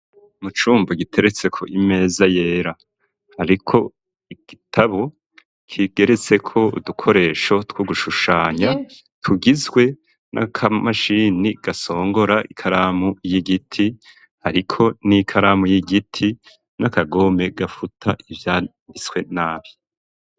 Mu cumbo giteretseko imeza yera. Hariko igitabo kigeretseko udukoresho two gushushanya, tugizwe n'akamashini gasongora ikaramu y'igiti, hariko n'ikaramu y'igiti, n'akagome gafuta ivyanditswe nabi.